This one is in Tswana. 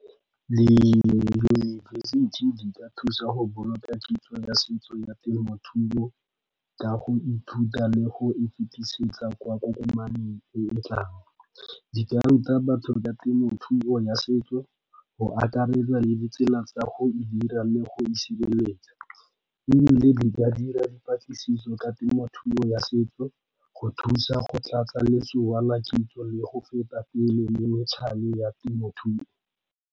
Diyunibesithi di ka thusa go boloka kitso ya setso ya temothuo ka go ithuta le go e fetisetsa kwa kokomaneng e e tlang. Di ka ruta batho ka temothuo ya setso go akaretsa le ditsela tsa go e dira le go e sireletsa ebile di ka dira dipatlisiso ka temothuo ya setso go thusa go tlatsa la kitso le go feta pele le ya temothuo.